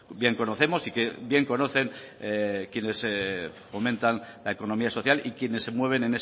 bien conocemos y que bien conocen quienes fomentan la economía social y quienes se mueven